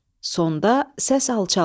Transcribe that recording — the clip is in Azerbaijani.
Sonda səs alçalır.